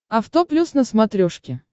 авто плюс на смотрешке